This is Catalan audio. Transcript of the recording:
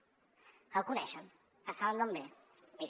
que el coneixen que saben d’on ve mirin